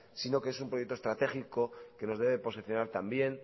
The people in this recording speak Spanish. sino que es un proyecto estratégico que nos debe posicionar también